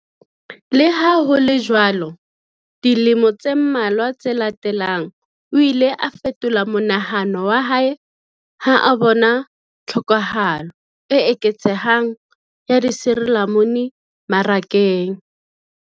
Le ha ho le jwalo, dilemo tse mmalwa tse latelang, o ile a fetola monahano wa hae ha a bona tlhokahalo e eketsehang ya disirilamunu marakeng.